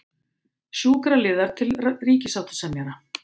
Sjúkraliðar til ríkissáttasemjara